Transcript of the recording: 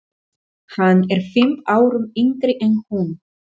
Hann er fimm árum yngri en hún.